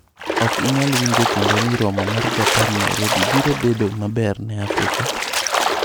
Ok inyal winjo kendo ni romo mar Japan Nairobi biro bedo maber ne Afrika?